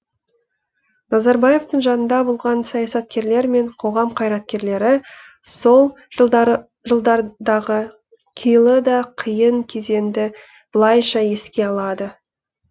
назарбаевтың жанында болған саясаткерлер мен қоғам қайраткерлері сол жылдардағы қилы да қиын кезеңді былайша еске алады